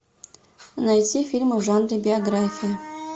найти фильмы в жанре биография